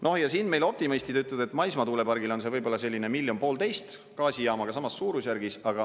No ja siin meil optimistid ütlevad, et maismaatuulepargile on see võib-olla selline miljon–1,5 miljonit eurot, gaasijaamaga samas suurusjärgus.